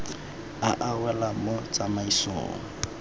a a welang mo tsamaisong